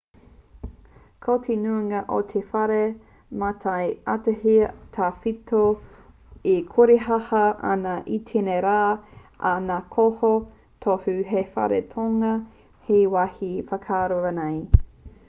ko te nuinga o ngā whare mātai ātea tawhito e korehāhā ana i tēnei rā ā ka noho tohu hei whare taonga hei wāhi whakaako rānei